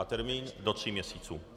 A termín do tří měsíců.